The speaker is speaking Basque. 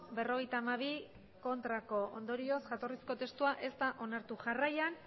berrogeita hamabi ondorioz jatorrizko testua ez da onartu jarraian